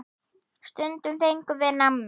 Stundum fengum við nammi.